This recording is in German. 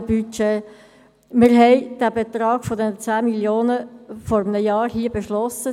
Vor einem Jahr haben wir den Betrag von 10 Mio. Franken hier beschlossen.